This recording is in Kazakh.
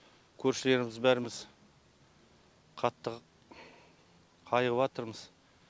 көршілеріміз бәріміз қатты қайғыватырмыз